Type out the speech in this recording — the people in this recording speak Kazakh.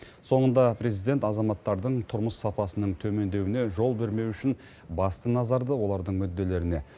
соңында президент азаматтардың тұрмыс сапасының төмендеуіне жол бермеу үшін басты назарды олардың мүдделеріне